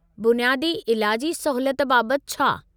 बुनियादी इलाजी सहूलियत बाबत छा?